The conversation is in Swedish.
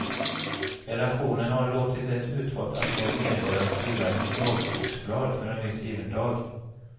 Redaktionen har låtit ett utvalt antal medborgare skriva ett dagboksblad för en viss given dag.